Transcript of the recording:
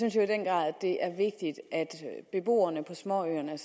at det er vigtigt at beboerne på småøerne